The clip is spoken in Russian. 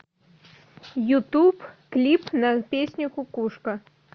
ютуб клип на песню кукушка